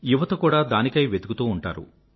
యువత కూడా దానికై వెతుకుతూ ఉంటారు